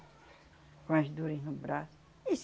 Com as dores no braço. E